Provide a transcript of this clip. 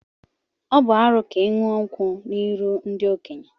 Ọ bu arụ ka iṅu nkwu n'iru ndi-okenye.